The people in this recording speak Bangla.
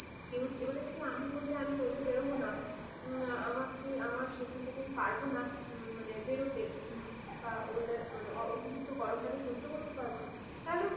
কেউ, এবারে আমি যদি বলি আমি রোদে বেরোবো না । আমার সেখান থেকে আমি পারবো না বেরোতে বা weather এর অতিরিক্ত গরমটাকে সহ্য করতে পারবোনা । তাহলেও কিন্তু,